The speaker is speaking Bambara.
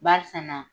Barisa na